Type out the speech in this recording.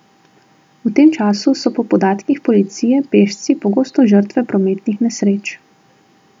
V tem času so po podatkih policije pešci pogosto žrtve prometnih nesreč.